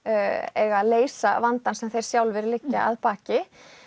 eiga að leysa vandann sem þeir sjálfir liggja að baki